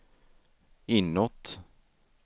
inåt